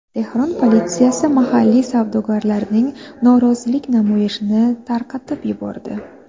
Tehron politsiyasi mahalliy savdogarlarning norozilik namoyishini tarqatib yubordi.